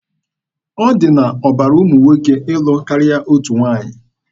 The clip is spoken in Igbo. Ọ dị n'ọbara ụmụ nwoke ịlụ karịa otu nwaanyị.